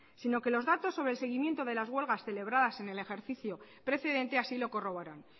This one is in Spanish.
sino que los datos sobre el seguimiento de las huelgas celebradas en el ejercicio precedente así lo corroboran